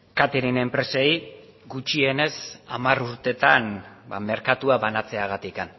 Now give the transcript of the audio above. catering enpresei gutxienez hamar urtetan merkatua banatzeagatik